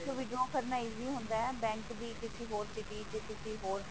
withdraw ਕਰਨਾ easy ਹੁੰਦਾ ਹੈ bank ਦੀ ਕਿਸੀ ਹੋਰ city ਚ ਕਿਸੀ ਹੋਰ